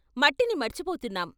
మట్టిని మర్చిపోతున్నాం.